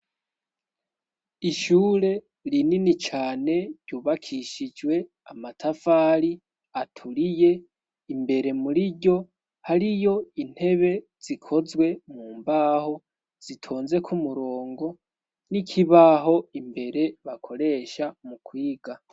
Ishure rinini cane ryubakishijwe amatafari aturiye imbere muri ryo hariyo intebe zikozwe mu mbaho zitonzeko umurongo n'ikibaho imbere bakoresha mu kwiga.